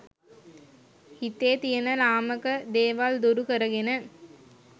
හිතේ තියෙන ළාමක දේවල් දුරු කරගෙන,